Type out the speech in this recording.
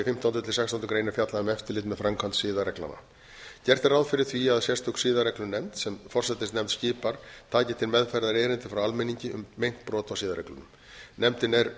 í fimmtándu til sextándu grein er fjallað um eftirlit með framkvæmd siðareglnanna gert er ráð fyrir því að sérstök siðareglunefnd sem forsætisnefnd skipar taki til meðferðar erindi frá almenningi um meint brot á siðareglunum nefndin er